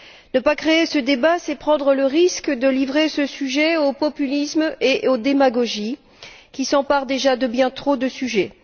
Ne pas ouvrir ce débat, c'est prendre le risque de livrer ce sujet aux populismes et aux démagogies qui s'emparent déjà de bien trop de sujets.